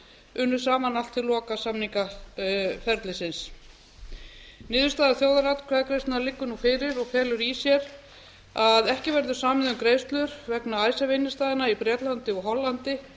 unnu saman allt til loka samningaferlisins niðurstaða þjóðaratkvæðagreiðslunnar liggur nú fyrir og felur í sér að ekki verður samið um greiðslur vegna icesave innstæðna í bretlandi og hollandi